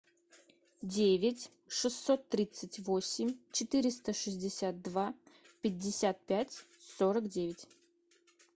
девять шестьсот тридцать восемь четыреста шестьдесят два пятьдесят пять сорок девять